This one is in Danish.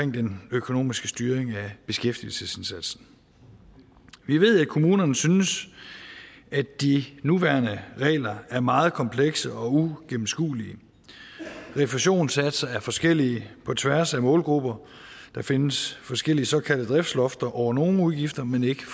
den økonomiske styring af beskæftigelsesindsatsen vi ved at kommunerne synes at de nuværende regler er meget komplekse og uigennemskuelige refusionssatser er forskellige på tværs af målgrupper der findes forskellige såkaldte driftslofter over nogle udgifter men ikke